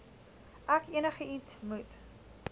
ek enigiets moet